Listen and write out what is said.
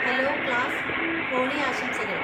Hello class, Holi ആശംസകൾ!